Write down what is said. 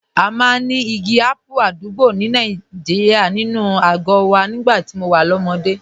A máa ń ní igi ápù àdúgbò Nàìjíríà nínú àgọ́ wa nígbà tí mo wà lọ́mọdé